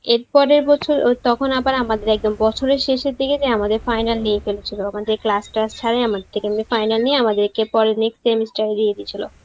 এর পরের বছর তখন আবার আমাদের একদম বছরের শেষের দিকে আমাদের final নিয়ে ফেলেছিল আমাদের class টলস আমাদের থেকে এমনি ফাইনাল নিয়ে আমাদেরকে পড়ে next semester এ দিয়ে দিয়েছিল